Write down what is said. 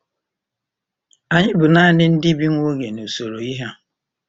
Anyị bụ nanị “ndị bi nwa oge” n’usoro ihe a.